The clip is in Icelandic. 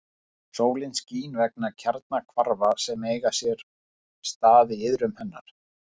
Sólin skín vegna kjarnahvarfa sem eiga sér stað í iðrum hennar.